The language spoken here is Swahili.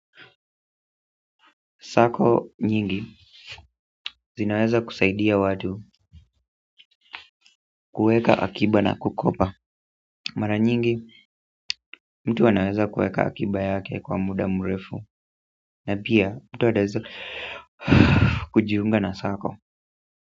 Sako nyingi zinaweza kusaidia watu kuweka akiba na kukopa mara nyingi mtu anaweza kuweka akiba yake kwa muda mrefu na pia mtu anaweza kujiunga na sako.